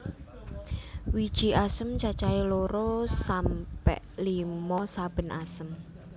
Wiji asem cacahe loro sampe limo saben asem